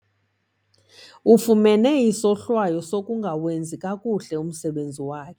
Ufumne isohlwayo sokungawenzi kakuhle umsebenzi wakhe.